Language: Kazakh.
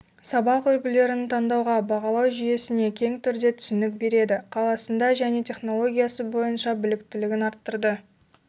сабақ үлгілерін таңдауға бағалау жүйесіне кең түрде түсінік береді қаласында - және технологиясыбойынша біліктілігін арттырды